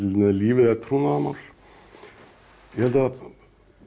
er lífið er trúnaðarmál ég held að